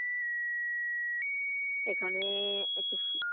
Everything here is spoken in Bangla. এখানে একটু